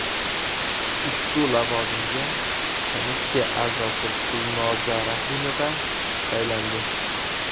Ushbu lavozimga komissiya a’zosi Gulnoza Rahimova saylandi.